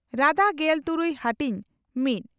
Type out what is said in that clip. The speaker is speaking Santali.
ᱨᱟᱫᱟ ᱺ ᱜᱮᱞ ᱛᱩᱨᱩᱭ ᱦᱟᱹᱴᱤᱧ ᱺ ᱢᱤᱛ